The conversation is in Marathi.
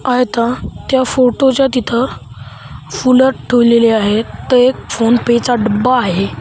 आहेत त्या फोटोच्या तिथं फुलं ठुवलेली आहेत ते एक फोनपे चा डब्बा आहे.